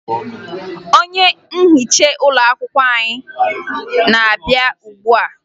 onye nhicha n'ụlọakwụkwọ na-abịa ugbua